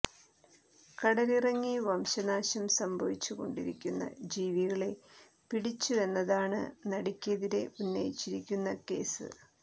കടലിലിറങ്ങി വംശനാശം സംഭവിച്ചു കൊണ്ടിരിക്കുന്ന ജീവികളെ പിടിച്ചുവെന്നതാണ് നടിയ്ക്കെതിരെ ഉന്നയിച്ചിരിക്കുന്ന കേസ്